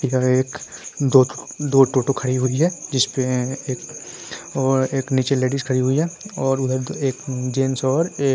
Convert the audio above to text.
इधर एक दोठो दो टोटो खड़ी हुई है। जिसपे एक और एक नीचे लेडीज खड़ी हुई है और उधर एक जेंट्स और एक --